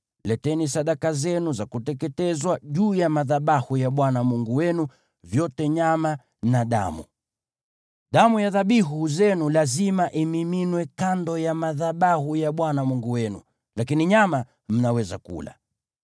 Leteni sadaka zenu za kuteketezwa juu ya madhabahu ya Bwana Mungu wenu, vyote nyama na damu. Damu ya dhabihu zenu lazima imiminwe kando ya madhabahu ya Bwana Mungu wenu, lakini nyama mnaweza kula.